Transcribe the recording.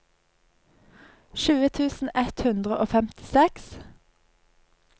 tjue tusen ett hundre og femtiseks